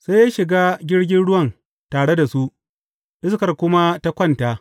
Sai ya shiga jirgin ruwan tare da su, iskar kuma ta kwanta.